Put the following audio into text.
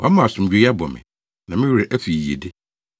Wɔama asomdwoe abɔ me; na me werɛ afi yiyedi.